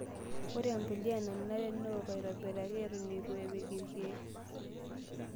Ore empulia nenare neoku aitobiraki eton eitu epiki irkiek.